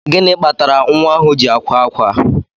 Gịnị kpatara nwa ahụ ji akwa ákwá?